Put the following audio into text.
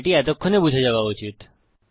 এটি এতক্ষণে অনেকটা বুঝে যাওয়া উচিত